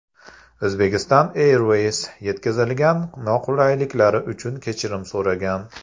Uzbekistan Airways yetkazilgan noqulayliklar uchun kechirim so‘ragan.